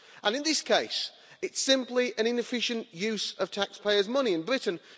In this case, it's simply an inefficient use of taxpayers' money in Britain.